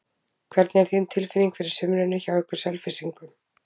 Hvernig er þín tilfinning fyrir sumrinu hjá ykkur Selfyssingum?